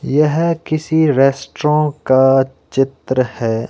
यह किसी रेस्तरों का चित्र है।